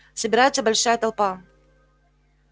собирается большая толпа